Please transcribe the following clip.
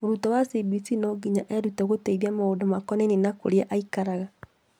Mũrutwo wa CBC no nginya erutire gũteithia maũndũ makonainie na kũria aikaraga